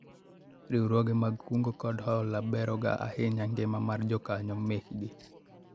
Riwruoge mag kungo kod hola bero ga ahinya ngima mar jokanyo mekgi